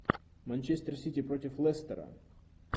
манчестер сити против лестера